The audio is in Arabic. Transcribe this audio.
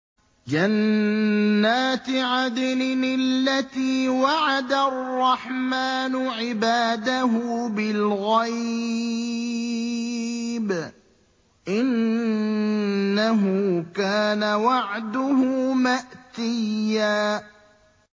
جَنَّاتِ عَدْنٍ الَّتِي وَعَدَ الرَّحْمَٰنُ عِبَادَهُ بِالْغَيْبِ ۚ إِنَّهُ كَانَ وَعْدُهُ مَأْتِيًّا